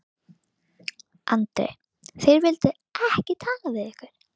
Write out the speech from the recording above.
Andri: Þeir vildu ekki tala við ykkur?